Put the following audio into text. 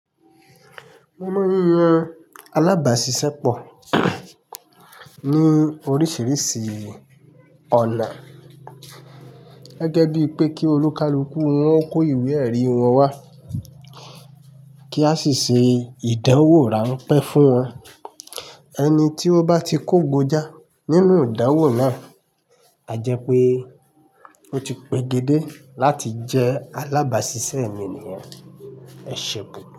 Mọ̀ mo n yan alábàáṣiṣẹ́pọ̀ ní oríṣiríṣi ọ̀nà gẹ́gẹ́ bíi pé kí olùkálúkù wọn kó ìwé ẹ̀rí wọn wá kí a sì ṣe ìdánwò ránpẹ́ fún wọn. Ẹni tí ó bá ti kógójà nínú ìdánwò náà á jẹ́ pé ó ti pege dé láti jẹ́ alábáṣiṣẹ́ mì níyen. Ẹ ṣe gan.